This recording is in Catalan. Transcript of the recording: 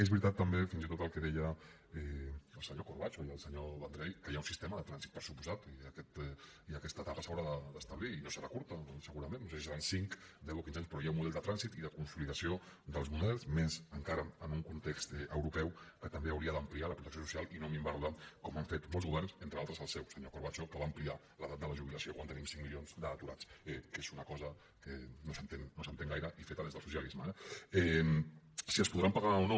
és veritat també fins i tot el que deien el senyor corbacho i el senyor vendrell que hi ha un sistema de trànsit per descomptat i aquesta etapa s’haurà d’establir i no serà curta segurament no sé si seran cinc deu o quinze anys però hi ha un model de trànsit i de consolidació dels models més encara en un context europeu que també hauria d’ampliar la protecció social i no minvar la com han fet molts governs entre altres el seu senyor corbacho que va ampliar l’edat de la jubilació quan teníem cinc milions d’aturats que és una cosa que no s’entén gaire i feta des del socialisme eh si es podran pagar o no